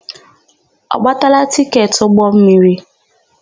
Ọ gbatala tịketị ụgbọmmiri?